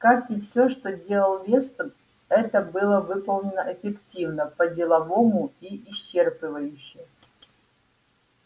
как и всё что делал вестон это было выполнено эффективно по-деловому и исчерпывающе